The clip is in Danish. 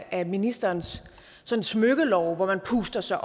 af ministerens smykkelove hvor man puster sig